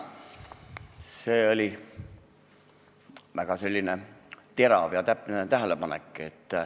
See oli väga terav ja täpne tähelepanek.